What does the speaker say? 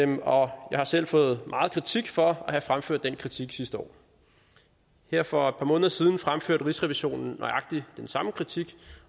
og jeg har selv fået meget kritik for at have fremført den kritik sidste år her for et par måneder siden fremførte rigsrevisionen nøjagtig den samme kritik